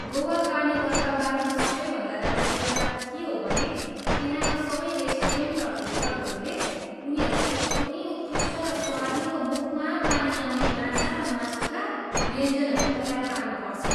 गोवा कार्निभलका बारेमा सबैभन्दा राम्रो कुरा के हो भने त्यहाँका सबै रेस्टुरेन्ट र होटलहरूले उनीहरूको एकदमै उत्कृष्ट र स्वादिलो मुखमा पानी आउने माछा र मासुका व्यञ्जनहरू तयार पार्नुपर्छ।